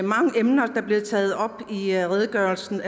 mange emner der bliver taget op i redegørelsen